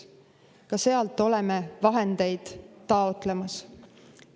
Ka sealt oleme vahendeid taotlemas.